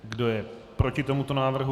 Kdo je proti tomuto návrhu?